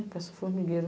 Parece o formigueiro.